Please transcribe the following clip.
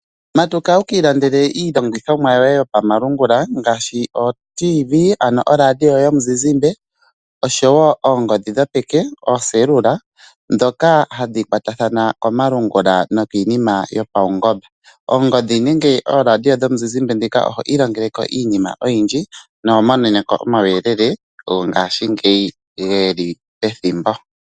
Matuka wuki ilandela iilongithomwa yoye yopamalungula ngaashi ooTV ano oradio yomuzizimbe oshowo oongodhi dhopeke oocellular dhoka hadhi kwatathana komalungula nokiinima yopaungomba. Oongodhi nenge ooradio dhomuzizimbe dhika oho ilongeleko iinima oyindji noho moneneko omawuyelele gongashingeyi geli pethimbo.